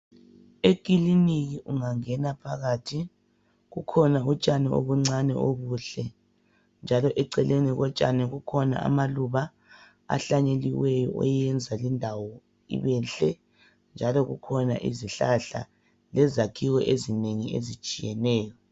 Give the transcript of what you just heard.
Ekiliniki engangena phakathi kukhona utshani obuncane obuhle njalo eceleni kotshani kukhona amaluba ahlanyeliweyo oyenza lindawo ibehle njalo kukhona izihlahla lezakhiwo ezinengi ezitshiyeneyo.